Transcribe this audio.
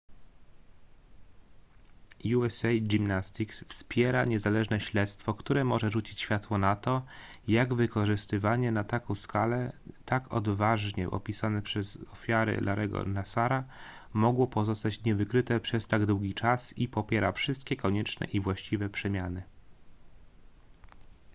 usa gymnastics wspiera niezależne śledztwo które może rzucić światło na to jak wykorzystywanie na taką skalę tak odważnie opisane przez ofiary larry'ego nassara mogło pozostać niewykryte przez tak długi czas i popiera wszystkie konieczne i właściwe przemiany